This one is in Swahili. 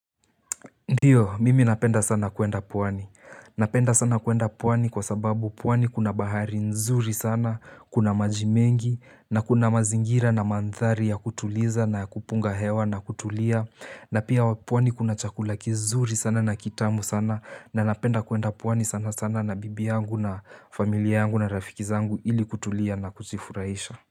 Ndio, mimi napenda sana kuenda pwani. Napenda sana kuenda pwani kwa sababu pwani kuna bahari nzuri sana, kuna majimengi, na kuna mazingira na mandhari ya kutuliza na kupunga hewa na kutulia, na pia pwani kuna chakula kizuri sana na kitamu sana, na napenda kuenda pwani sana sana na bibi yangu na familia yangu na rafiki zangu ili kutulia na kujifurahisha.